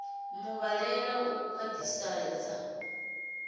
a mu vhalele u khwaṱhisedza